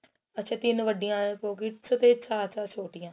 ਅੱਛਾ ਤਿੰਨ ਵੱਡੀਆਂ pockets ਤੇ ਚਾਰ ਚਾਰ ਛੋਟੀਆਂ